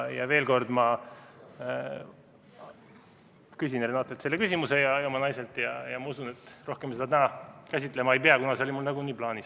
Veel kord: ma küsin Renatelt, oma naiselt, selle küsimuse ja ma usun, et rohkem seda täna käsitlema ei pea, kuna see oli mul nagunii plaanis.